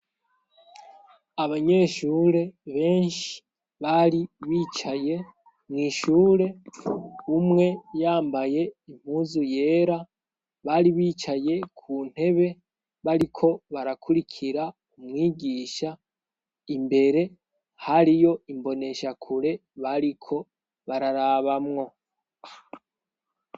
Abanyeshure benshi bari bicaye mw'ishure umwe yambaye impuzu yera bari bicaye ku ntebe bariko barakurikira umwigisha imbere hari yo imboneshakure bariko bararabamwo.